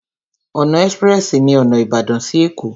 Ọ̀nà ẹ́sprẹ́sì ní ọ̀nà Ìbàdàn sí Ẹ̀kó.